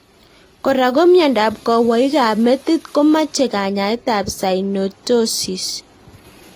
Kora ko miondop kowoik ab metit ko mache kanyaet ab synostosis